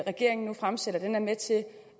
regeringen nu fremsætter er med til